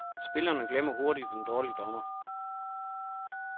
Spillerne glemmer hurtigt en dårlig dommer.